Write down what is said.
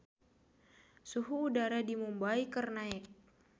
Suhu udara di Mumbay keur naek